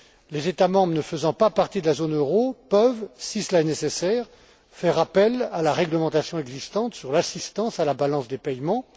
Les États membres ne faisant pas partie de la zone euro peuvent, si cela est nécessaire, faire appel à la réglementation existante sur l'assistance à la balance des paiements.